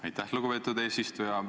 Aitäh, lugupeetud eesistuja!